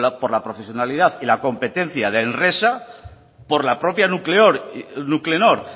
con la profesionalidad y la competencia de enresa por la propia nuclenor